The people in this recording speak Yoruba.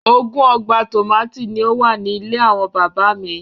Ogún ọgbà tòmátì ni ó wà ní ilé àwọn bàbá mi